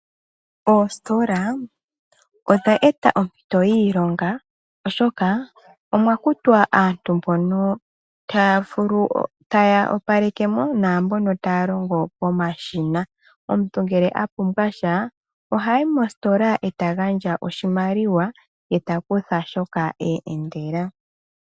Oositola odha eta oompito dhiilonga oshoka omwa kutwa aantu mbono taya opalekemo, naambono taya longo pomashina. Omuntu ngele a pumbwa sha ohayi mositola e ta gandja oshimaliwa ye ta kutha shoka a endela.